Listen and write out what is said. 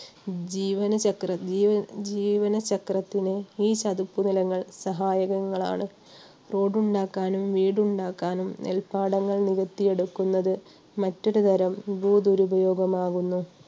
ജീവന ~ ജീവനചക്രത്തിന് ഈ ചതുപ്പ് നിലങ്ങൾ സഹായകങ്ങളാണ്. road ഉണ്ടാക്കാനും, വീടുണ്ടാക്കാനും, നെൽപ്പാടങ്ങൾ നികത്തി എടുക്കുന്നത് മറ്റൊരുതരം ഭൂദുരുപയോഗം ആകുന്നു